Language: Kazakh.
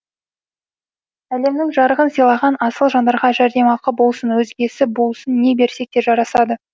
әлемнің жарығын сыйлаған асыл жандарға жәрдемақы болсын өзгесі болсын не берсек те жарасады